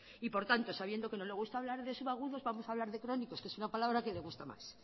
y por tanto sabiendo que no le gusta hablar de subagudos vamos hablar de crónicos que es una palabra que le gusta más